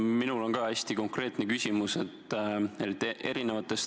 Minul on ka hästi konkreetne küsimus.